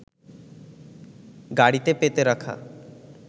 গাড়িতে পেতে রাখা